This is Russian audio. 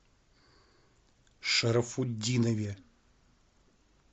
шарафутдинове